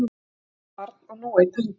Eitt barn og nú einn hundur